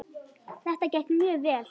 Þetta gekk mjög vel.